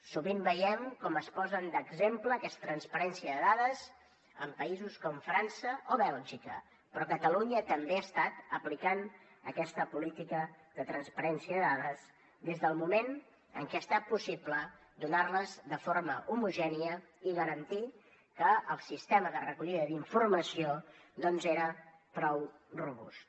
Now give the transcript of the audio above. sovint veiem com es posen d’exemple d’aquesta transparència de dades països com frança o bèlgica però catalunya també ha estat aplicant aquesta política de transparència de dades des del moment en què ha estat possible donar les de forma homogènia i garantir que el sistema de recollida d’informació doncs era prou robust